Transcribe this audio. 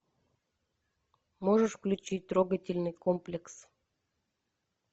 можешь включить трогательный комплекс